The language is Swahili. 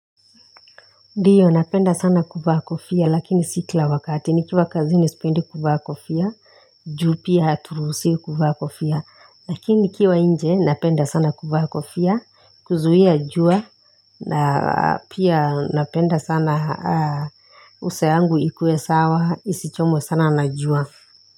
Ndiyo napenda sana kuvaa kofia lakini si kila wakati nikiwa kazini sipendi kuvaa kofia Ju pia haturuhusiwi kuvaa kofia Lakini nikiwa nje napenda sana kuvaa kofia kuzuhia jua na pia napenda sana uso yangu ikue sawa isichomwe sana na jua.